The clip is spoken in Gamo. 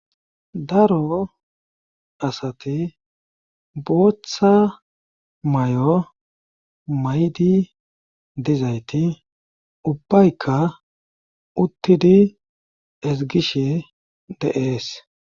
Daro asati booththa may'o maydi dizayti ubbayka uttidi ezgishe deees